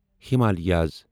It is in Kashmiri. ہمالِیاس